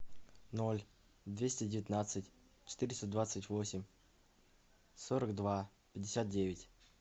ноль двести девятнадцать четыреста двадцать восемь сорок два пятьдесят девять